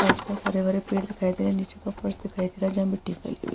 आस-पास हरे-भरे पेड़ दिखाई दे रहे हैं नीचे का फर्श दिखाई दे रहा है जहाँ मिट्टी फैली हुई --